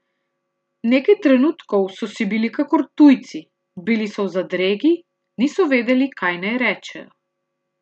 Nekaj trenutkov so si bili kakor tujci, bili so v zadregi, niso vedeli, kaj naj rečejo.